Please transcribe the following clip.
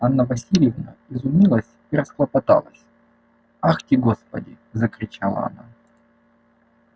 анна власьевна изумилась и расхлопоталась ахти господи закричала она